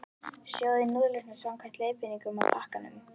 Sjóðið núðlurnar samkvæmt leiðbeiningum á pakkanum.